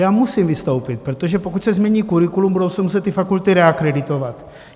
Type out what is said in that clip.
Já musím vystoupit, protože pokud se změní curriculum, budou se muset ty fakulty reakreditovat.